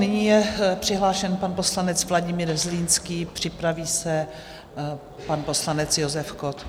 Nyní je přihlášen pan poslanec Vladimír Zlínský, připraví se pan poslanec Josef Kott.